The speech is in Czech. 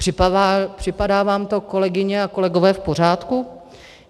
Připadá vám to, kolegyně a kolegové, v pořádku?